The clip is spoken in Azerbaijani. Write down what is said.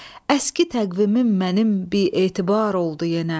Əski təqvimim mənim bimetibar oldu yenə.